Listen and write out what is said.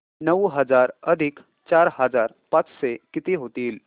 नऊ हजार अधिक चार हजार पाचशे किती होतील